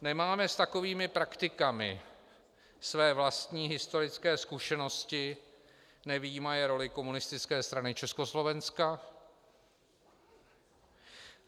Nemáme s takovými praktikami své vlastní historické zkušenosti, nevyjímaje roli Komunistické strany Československa?